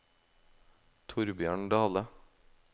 Thorbjørn Dahle